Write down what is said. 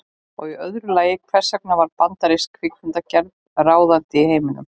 Og í öðru lagi, hvers vegna varð bandarísk kvikmyndagerð ráðandi í heiminum?